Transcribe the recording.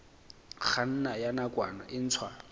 kganna ya nakwana e ntshwa